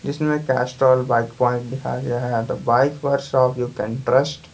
इसमें Castrol bike point लिखा गया है the bike workshop you can trust --